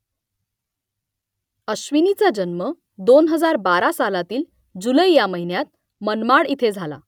अश्विनीचा जन्म दोन हजार बारा सालातील जुलै ह्या महिन्यात मनमाड इथे झाला